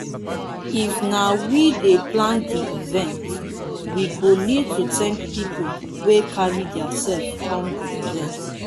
if na we dey plan di event we go need to thank pipo wey carry their self come di event